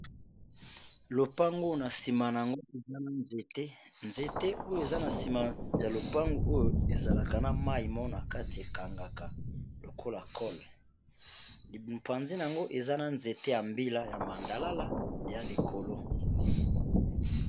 Lopango oyo na nsima nango eza na nzete, nzete oyo eza na nsima ya lopango oyo ezalaka na mayi moko na kati ekangaka lokola cole mupanzi nango eza na nzete ya mbila ya mandalala ea likolo.